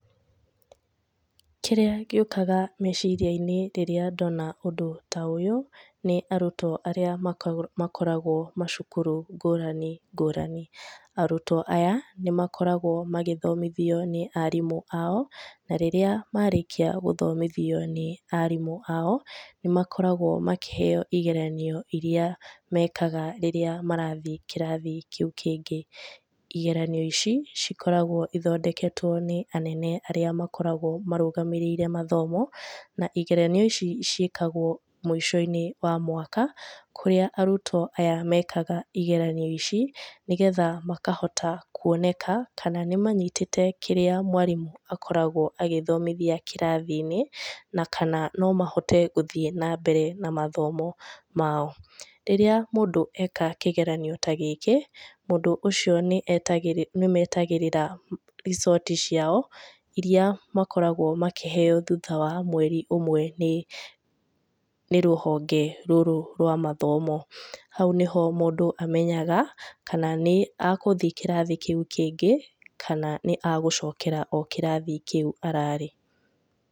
Kĩrĩa gĩũkaga meciria-inĩ rĩrĩa ndona ũndũ ta ũyũ, nĩ arutwo arĩa makoragwo macukuru ngũrani ngũrani. Arutwo aya nĩ makoragwo magĩthomithio nĩ arimũ ao, na rĩrĩa marĩkia gũthomithio nĩ arimũ ao, nĩ makoragwo makĩheyo igeranio iria mekaga rĩrĩa marathiĩ kĩrathi kĩu kĩngĩ. Igeranio ici cikoragwo igĩthondekwo nĩ anene arĩa makoragwo marũgamĩrĩire mathomo, na igeranio ici ciĩkagwo mũico-inĩ wa mwaka, kũrĩa arutwo aya mekaga igeranio ici, nĩgetha makahota kuoneka kana nĩ manyitĩte kĩrĩa mwarimũ akoragwo agĩthomithia kĩrathi-inĩ na kana no mahote gũthiĩ na mbere na mathomo mao. Rĩrĩa mũndũ eka kĩgeranio ta gĩkĩ, mũndũ ũcio nĩ metagĩrĩra result ciao, iria makoragwo makĩheyo thutha wa mweri ũmwe nĩ rũhonge rũrũ rwa mathomo. Hau nĩho mũndũ amenyaga kana nĩ agũthiĩ kĩrathi kĩu kĩngĩ kana nĩ agũcokera o kĩrathi kĩu ararĩ.